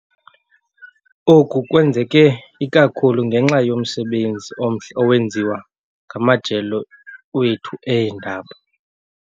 Oku kwenzeke ikakhulu ngenxa yomsebenzi omhle owenziwa ngamajelo wethu eendaba.